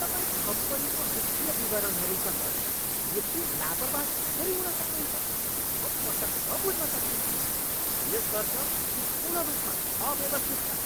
तपाईँ कम्पनीको वित्तीय विवरणहरूसँग यति लापर्बाह कसरी हुन सक्नुहुन्छ, म पटक्क बुझ्न सक्तिनँ। यस वर्ष यी पूर्ण रूपमा अव्यवस्थित छन्।